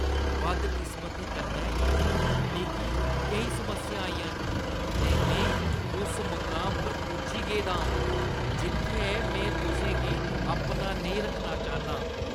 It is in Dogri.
बदकिस्मती कन्नै मिगी केईं समस्यां आइयां न ऐ ते में उस मुकाम पर पुज्जी गेदा आं जित्थै में तुसें गी अपना नेईं रक्खना चाह्‌न्नां।